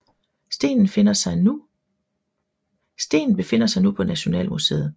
Stenen befinder sig nu på Nationalmuseet